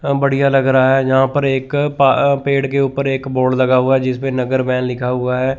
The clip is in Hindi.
अह बढ़िया लग रहा है यहां पर एक पा पेड़ के ऊपर एक बोर्ड लगा हुआ है जिस पे नगर वैन लिखा हुआ है।